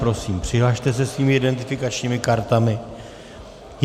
Prosím, přihlaste se svými identifikačními kartami.